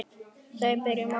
Við byrjum á þessum ókunna.